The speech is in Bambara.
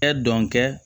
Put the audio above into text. Ɛ dɔn kɛ